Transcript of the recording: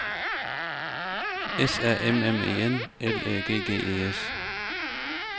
S A M M E N L Æ G G E S